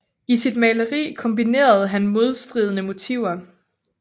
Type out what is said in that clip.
I sit maleri kombinerede han modstridende motiver